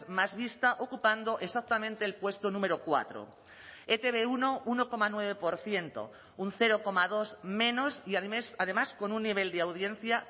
más vista ocupando exactamente el puesto número cuatro e te be uno uno coma nueve por ciento un cero coma dos menos y al mes además con un nivel de audiencia